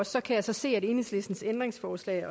så kan jeg så se at enhedslistens ændringsforslag